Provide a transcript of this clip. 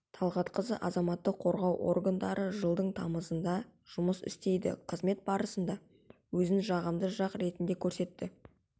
талғатқызы азаматтық қорғау органдары жылдың тамызында жұмыс істейді қызмет барысында өзін жағымды жақ ретінде көрсетті